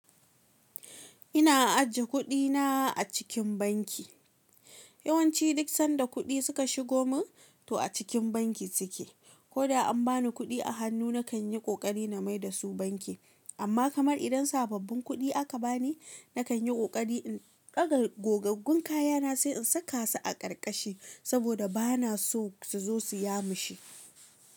Ina ajiye kuɗina a cikin banki. Yawanci duk sanda kuɗi suka shigo min to a cikin banki suke. Ko da an bani kuɗi a hannu, na kan yi ƙoƙari na mai da su banki. Amma kamar idan sababbin kuɗi aka bani, na kan yi ƙoƙari in ɗaga gogaggun kayana sai in saka su a ƙarƙashi saboda ba na so su zo su yamushe.